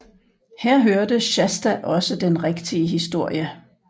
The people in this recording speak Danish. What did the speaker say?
Her hørte Shasta også den rigtige historie